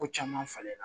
Ko caman falen na